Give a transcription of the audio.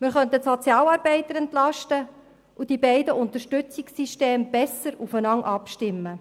Wir könnten die Sozialarbeiter entlasten und die beiden Systeme der Unterstützung besser aufeinander abstimmen.